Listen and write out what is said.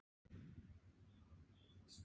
Víkjum þá út í bæ.